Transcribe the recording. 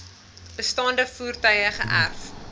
bestaande voertuie geërf